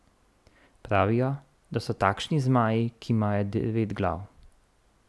Pravijo, da so takšni zmaji, ki imajo devet glav.